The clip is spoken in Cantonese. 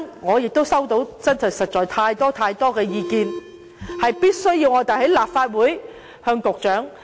我亦收到太多太多的意見，令我們必須在立法會向局長......